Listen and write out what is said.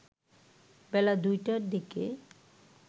বেলা ২টার দিকে